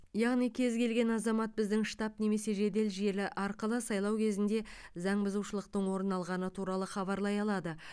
яғни кез келген азамат біздің штаб немесе жедел желі арқылы сайлау кезінде заңбұзушылықтың орын алғаны туралы хабарлай алады